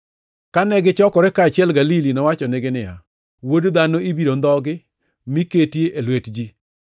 Kane gichokore kaachiel Galili, nowachonegi niya, “Wuod Dhano ibiro ndhogi mi keti e lwet ji.